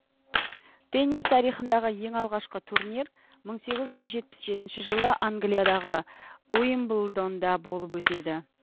теннис тарихындағы ең алғашқы турнир мың сегіз жүз жетпіс жетінші жылы англиядағы уимблдонда болып өтеді